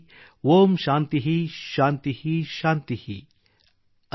ಓಂ ಶಾಂತಿಃ ಶಾಂತಿಃ ಶಾಂತಿಃ || ಅಂದರೆ